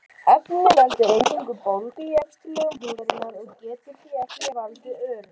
Efnið veldur eingöngu bólgu í efstu lögum húðarinnar og getur því ekki valdið örum.